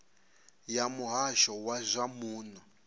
ya muhasho wa zwa muno